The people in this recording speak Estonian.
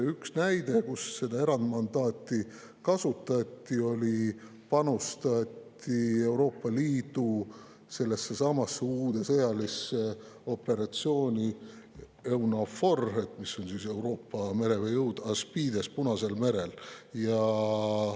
Üks näide, kus seda erandmandaati kasutati, oli see, kui panustati Euroopa Liidu sellessesamasse uude sõjalisse operatsiooni EUNAVFOR – mis on siis Euroopa merejõud – ASPIDES Punasel merel.